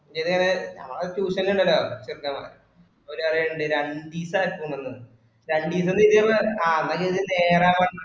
ഇന്റേത് ഞാ tuition ഇണ്ടല്ലോ ചേർക്ക ഓല് പറീന്നുണ്ട് രണ്ടീസം ആക്കൊന്ന് രണ്ടീസം എന്ന് ആ നേരാവണ്ണം